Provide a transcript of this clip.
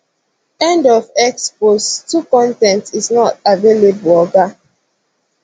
end of x post 2 con ten t is not available oga